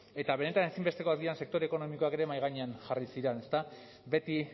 eta benetan ezinbestekoak diren sektore ekonomikoak ere mahai gainean jarri ziren ezta beti